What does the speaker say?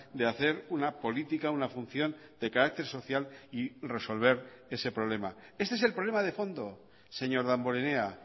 de hacer una política una función de carácter social y resolver ese problema este es el problema de fondo señor damborenea